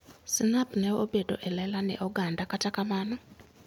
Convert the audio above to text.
Snap ne obedo e lela ne oganda kata kamano.